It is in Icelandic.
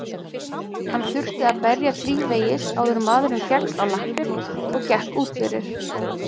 Hann þurfti að berja þrívegis áður en maðurinn fékkst á lappir og gekk út fyrir.